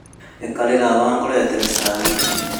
Ikarĩra haha ngũrehere cai